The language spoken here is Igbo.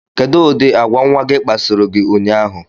Kedụ ụdị agwa nnwa gị kpasoro gị ụnyaahụ?